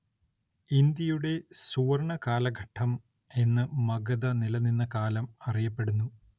ഇന്ത്യയുടെ സുവര്‍ണ്ണ കാലഘട്ടം എന്ന് മഗധ നിലനിന്ന കാലം അറിയപ്പെടുന്നു